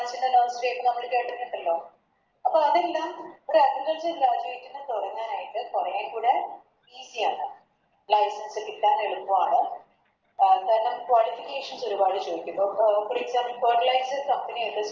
അപ്പം അതെല്ലാം ഒര് Agriculture graduate ന് കൊറേക്കൂടെ Easy ആണ് കിട്ടാൻ എളുപ്പാണ് കാരണം അഹ് കാരണം Qualification ഒരുപാട് ചോയിക്കും അഹ് Fertilized company ആയിട്ട്